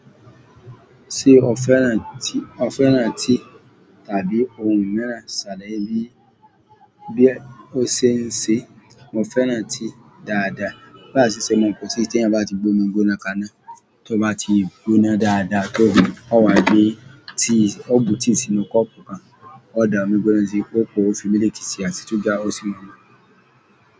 Ṣé o féràn tí, o féràn tí tàbí ohun ìmiran sàlàyé bí bí ó ṣe ń ṣe? Mo féràn ti dáadáa. Láìsí ṣe, mo kò tí ì ṣe ẹni bá ti gbóná gbóná kaná. Tí ó bá ti gbóná dáadáa tó, ó wá gbé tí, ó bu tí sínú kọ́pù kan, ó da omí gbóná sí i, ó po fi miliiki sí i, a sì ṣuga ó sí mú.